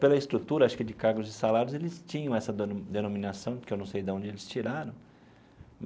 Pela estrutura acho que de cargos e salários, eles tinham essa deno denominação, porque eu não sei de onde eles tiraram.